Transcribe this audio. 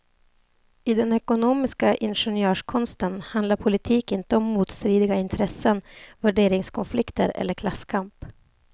I den ekonomistiska ingenjörskonsten handlar politik inte om motstridiga intressen, värderingskonflikter eller klasskamp.